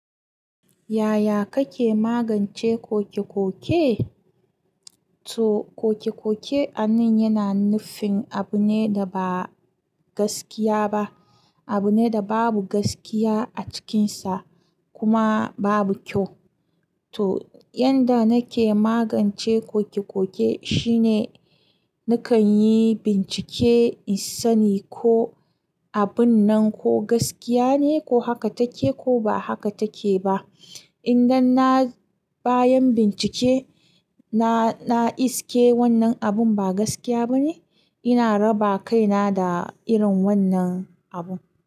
Yaya kake magance koke-koke? To koke-koke a nan yana nufin abu ne da ba gaskiya ba, abu ne da babu gaskiya a cikinsa kuma babu kyau. To yanda nake magance koke-koke shine nakan yi bincike in sani ko abun nan ko gaskiya ne ko haka take ko ba haka take ba. Idan na bayan bincike, na, na iske wannan abun ba gaskiya ba ne, ina raba kaina da irin wannan abu.